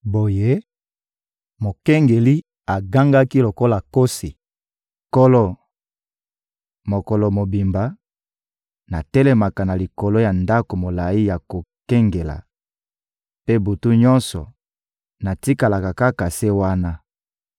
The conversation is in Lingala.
Boye, mokengeli agangaki lokola nkosi: «Nkolo, mokolo mobimba, natelemaka na likolo ya ndako molayi ya kokengela; mpe butu nyonso, natikalaka kaka se wana.